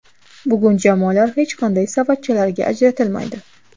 Bugun jamoalar hech qanday savatchalarga ajratilmaydi.